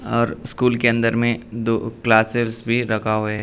और स्कूल के अंदर मे दो क्लासेस भी लगा होए --